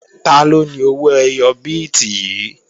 Taló ni owó ẹyọ bíìtì yìí?